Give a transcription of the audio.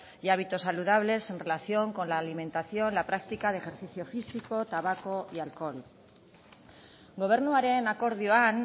y hábitos saludables en relación con la alimentación la práctica de ejercicio físico tabaco y alcohol gobernuaren akordioan